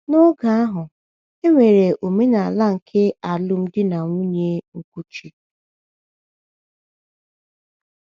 N’oge ahụ, e nwere omenala nke alụmdi na nwunye nkuchi.